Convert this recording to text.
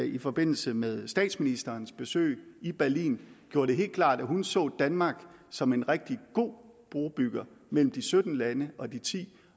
i forbindelse med statsministerens besøg i berlin gjorde det helt klart at hun så danmark som en rigtig god brobygger mellem de sytten lande og de ti